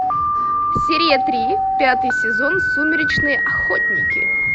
серия три пятый сезон сумеречные охотники